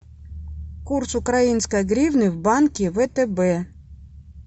курс украинской гривны в банке втб